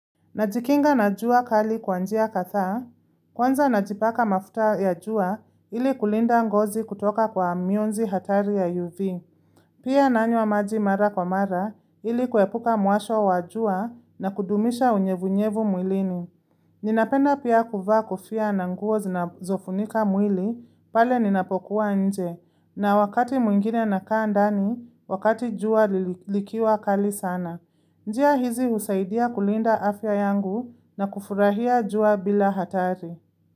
Najikinga na jua kali kwa njia kadhaa, kwanza najipaka mafuta ya jua ili kulinda ngozi kutoka kwa mionzi hatari ya UV. Pia nanywa maji mara kwa mara ili kuepuka muasho wa jua na kudumisha unyevunyevu mwilini. Ninapenda pia kuva kofia na nguo zinazofunika mwili, pale ninapokuwa nje, na wakati mwingine na kaa ndani, wakati jua likiwa kali sana. Njia hizi husaidia kulinda afya yangu na kufurahia jua bila hatari.